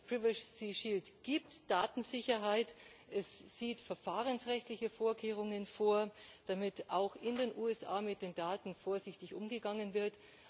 Der Privacy Shield gibt Datensicherheit, er sieht verfahrensrechtliche Vorkehrungen vor, damit auch in den USA mit den Daten vorsichtig umgegangen wird.